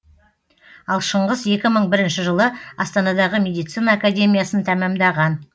ал шыңғыс екі мың бірінші жылы астанадағы медицина академиясын тәмамдаған